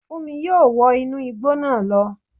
Fúnmi yóò wọ inú igbó náà lọ